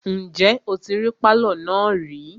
Ǹjẹ́ o tí rí pálọ̀ náà rí?